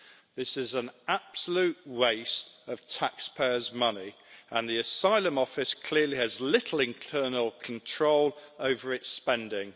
This is an absolute waste of taxpayers' money, and the Asylum Office clearly has little internal control over its spending.